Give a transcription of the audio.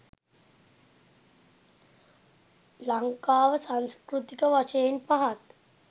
ලංකාව සංස්කෘතික වශයෙන් පහත්